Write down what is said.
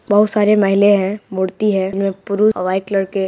बहुत सारी महिलाएं है मूर्ति है। नूपुर वाइट कलर के --